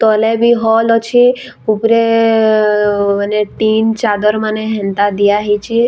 ତଲେ ବି ହଲ୍ ଅଛେ ଉପରେ ମାନେ ଟିନ୍‌ ଚାଦର୍‌ ମାନେ ହେନ୍ତା ଦିଆ ହେଇଛେ ।